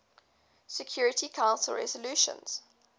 security council resolutions